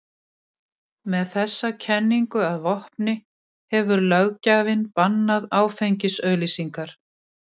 Með þessa kenningu að vopni hefur löggjafinn bannað áfengisauglýsingar.